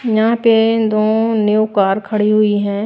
यहां पे दो न्यू कार खड़ी हुई हैं।